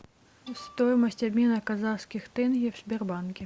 стоимость обмена казахских тенге в сбербанке